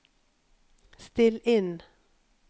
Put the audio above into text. still inn